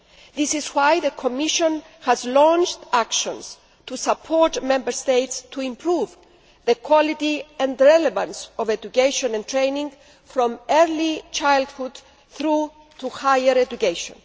This is why the Commission has launched actions to support Member States in improving the quality and relevance of education and training from early childhood through to higher education.